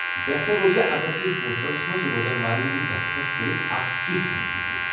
بہتر روزِ اگر تُہۍ ہوسٹلس منز روزن والین ہٖند دسخط كرِتھ اكھ چیٹھ انِتھ ہیكِو ۔